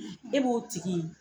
E b'o tigi